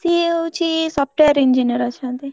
ସିଏ ହଉଛି Software Engineer ଅଛନ୍ତି।